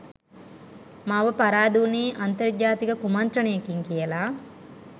මාව පරාද උනේ අන්තර්ජාතික කුමන්ත්‍රණයකින් කියලා